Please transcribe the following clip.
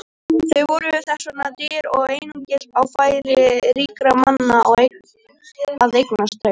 Þau voru þess vegna dýr og einungis á færi ríkra manna að eignast þau.